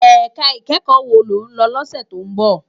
Èká ikèékò wó ló n lò lòsè tó n bò?